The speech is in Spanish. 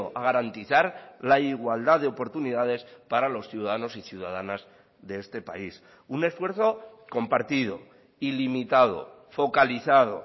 a garantizar la igualdad de oportunidades para los ciudadanos y ciudadanas de este país un esfuerzo compartido ilimitado focalizado